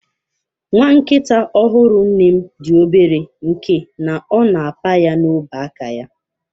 Nwa nkita ọhụrụ nne m dị obere nke na ọ na apa ya n'ọba aka ya.